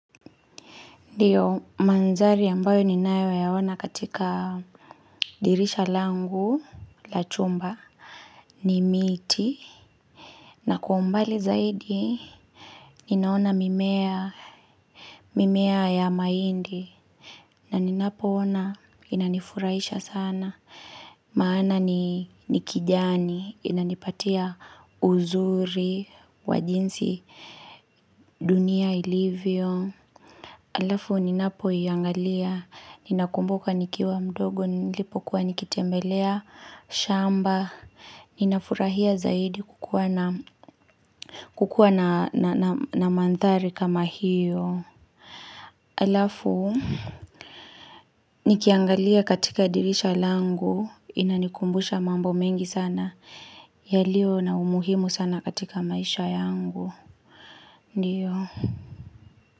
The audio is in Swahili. Ndiyo mandhari ambayo ninayo yaona katika dirisha langu la chumba ni miti na kwa umbali zaidi ninaona mimea mimea ya mahindi na ninapoona inanifurahisha sana maana nikijani inanipatia uzuri wajinsi dunia ilivyo. hAlafu, ninapoiangalia, ninakumbuka nikiwa mdogo, nilipokuwa nikitembelea, shamba, ninafurahia zaidi kukua na mandhari kama hiyo. hAlafu, nikiangalia katika dirisha langu, inanikumbusha mambo mengi sana, yalio na umuhimu sana katika maisha yangu. Ndiyo.